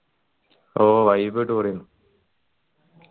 ഓ vibe അടിപൊളിയെന്നു